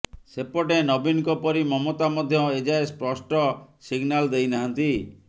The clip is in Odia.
ସେପଟେ ନବୀନଙ୍କ ପରି ମମତା ମଧ୍ୟ ଏଯାଏଁ ସ୍ପଷ୍ଟ ସିଗନାଲ ଦେଇନାହାନ୍ତି